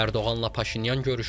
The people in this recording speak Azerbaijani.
Ərdoğanla Paşinyan görüşdülər.